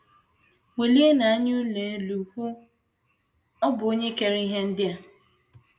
“ Welienụ anya unu elu, ọ̀ bụ Onye kere ihe ndị a? ”